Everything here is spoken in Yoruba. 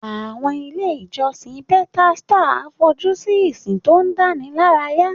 Àwọn ilé ìjọsìn Pentecostal fojú sí ìsìn tó dánilárayá.